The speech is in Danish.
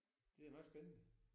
Det er jo nok spændende